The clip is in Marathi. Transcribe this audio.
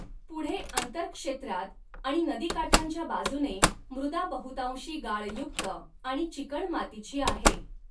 पुढे अंतर्क्षेत्रात आणि नदीकाठांच्या बाजूने मृदा बहुतांशी गाळयुक्त आणि चिकणमातीची आहे.